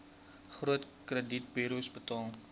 groot kredietburos betaal